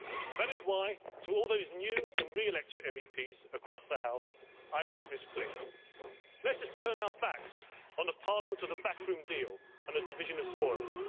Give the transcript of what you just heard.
That is why, to all those new and re elected MEPs across the House, I make this plea let us turn our backs on the parliament of the backroom deal and the division of spoils.